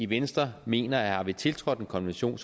venstre mener at har vi tiltrådt en konvention